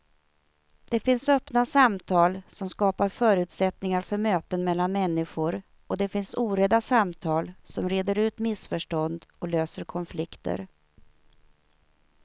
Det finns öppna samtal som skapar förutsättningar för möten mellan människor och det finns orädda samtal som reder ut missförstånd och löser konflikter.